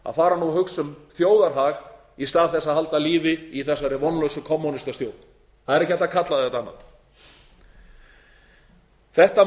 að fara að hugsa um þjóðarhag í stað þess að halda lífi í þessari vonlausu kommúnistastjórn það er ekki hægt að kalla þetta annað þetta